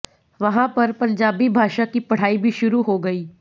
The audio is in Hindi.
वहाँ पर पंजाबी भाषा की पढ़ाई भी शुरू हो गई